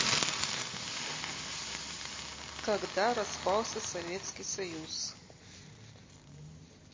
когда распался советский союз